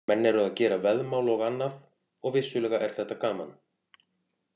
Menn eru að gera veðmál og annað og vissulega er þetta gaman.